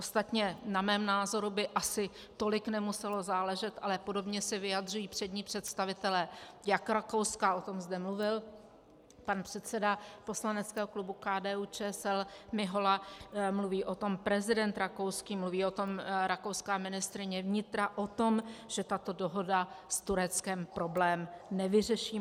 Ostatně na mém názoru by asi tolik nemuselo záležet, ale podobně se vyjadřují přední představitelé jak Rakouska - o tom zde mluvil pan předseda poslaneckého klubu KDU-ČSL Mihola, mluví o tom prezident rakouský, mluví o tom rakouská ministryně vnitra, o tom, že tato dohoda s Tureckem problém nevyřeší.